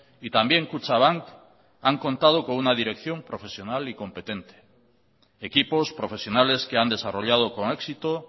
y también kutxabank han contado con una dirección profesional y competente equipos profesionales que han desarrollado con éxito